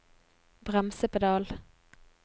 bremsepedal